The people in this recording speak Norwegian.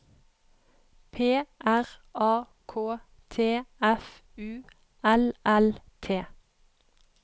P R A K T F U L L T